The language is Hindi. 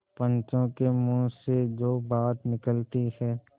पंचों के मुँह से जो बात निकलती है